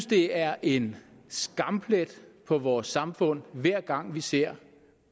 det er en skamplet på vores samfund hver gang vi ser